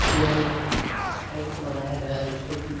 यह एक टेन्ट बनाया गया है जिसको की --